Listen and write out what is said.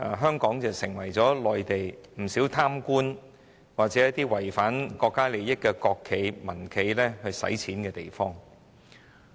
香港已成為內地不少貪官或罔顧國家利益的國企和民企洗錢的地方。